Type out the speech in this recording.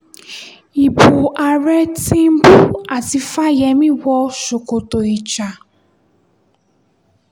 ibo àárẹ̀ tìǹbù àti fáyẹ́mi wọ ṣòkòtò ìjà